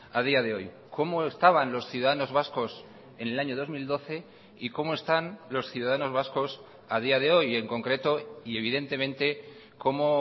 a día de hoy cómo estaban los ciudadanos vascos en el año dos mil doce y cómo están los ciudadanos vascos a día de hoy en concreto y evidentemente cómo